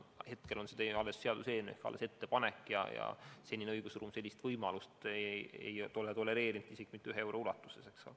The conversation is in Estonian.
Esialgu on see alles seaduseelnõus olev ettepanek ja senine õigusruum sellist võimalust ei ole tolereerinud, isegi mitte ühe euro ulatuses.